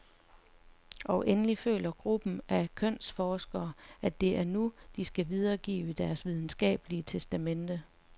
Og endelig føler gruppen af kønsforskere, at det er nu , de skal videregive deres videnskabelige testamente.